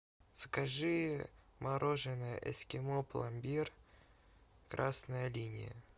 закажи мороженое эскимо пломбир красная линия